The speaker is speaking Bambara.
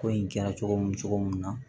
Ko in kɛra cogo min cogo min na